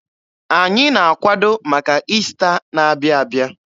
Anyị na-akwado maka Ista na-abịa abịa.